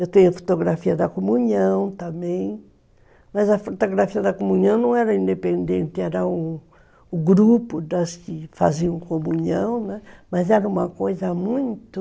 Eu tenho a fotografia da comunhão também, mas a fotografia da comunhão não era independente, era o grupo das que faziam comunhão, né, mas era uma coisa muito...